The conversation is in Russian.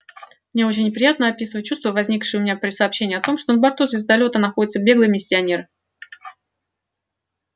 мне очень неприятно описывать чувства возникшие у меня при сообщении о том что на борту звездолёта находится беглый миссионер